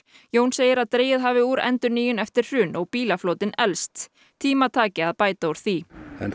Jón segir að dregið hafi úr endurnýjun eftir hrun og bílaflotinn elst tíma taki að bæta úr því